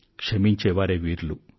క్షమించేవారే వీరులు